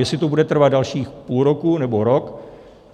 Jestli to bude trvat dalších půl roku nebo rok,